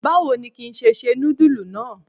Báwo ni ki ṣe se nudulu náà?